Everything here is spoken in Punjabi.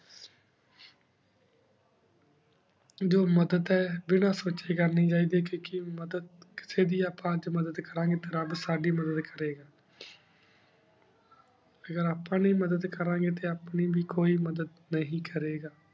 ਜੋ ਮਦਦ ਆਯ ਬਿਨਾ ਸੋਚੀ ਕਰਨੀ ਚਾਹੀ ਦੇ ਕੀ ਮਦਦ ਕਿਸੀ ਦੇ ਆਪਾਂ ਅਜੇ ਮਦਦ ਕਰਨ ਗੀ ਟੀ ਰਾਬ ਸਾਡੀ ਮਦਦ ਕਰੀ ਗਾ ਅਗਰ ਆਪਾਂ ਨਹੀ ਮਦਦ ਕਰਨ ਗੀ ਟੀ ਆਪਣੀ ਵੇ ਕੋਈ ਮਦਦ ਨਹੀ ਕਰੀ ਗਾ